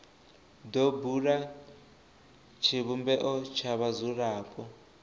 do bula tshivhumbeo tsha vhadzulapo